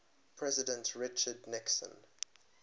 president richard nixon